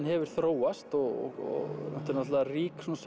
hefur þróast og þetta er náttúrulega rík svona